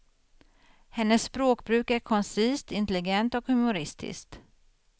Hennes språkbruk är koncist, intelligent och humoristiskt.